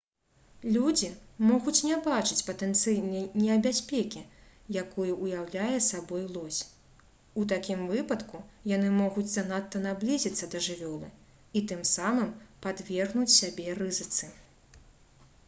людзі могуць не бачыць патэнцыяльнай небяспекі якую ўяўляе сабой лось у такім выпадку яны могуць занадта наблізіцца да жывёлы і тым самым падвергнуць сябе рызыцы